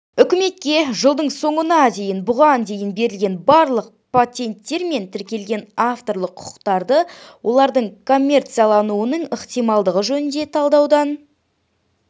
үкімет жылдың соңына дейін бұған дейін берілген барлық патенттер мен тіркелген авторлық құқықтарды олардың коммерциялануының ықтималдығы жөнінен талдаудан